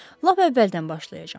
Lap əvvəldən başlayacam.